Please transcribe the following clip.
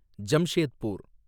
Jamshedpur